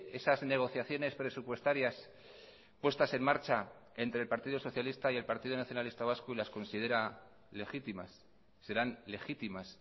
esas negociaciones presupuestarias puestas en marcha entre el partido socialista y el partido nacionalista vasco y las considera legítimas serán legitimas